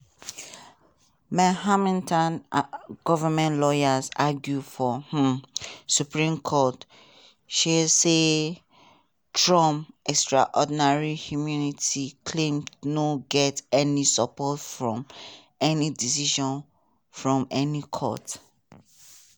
manhattan goment lawyers argue for um supreme court um say trump "extraordinary immunity claim no get any support from any decision from any court".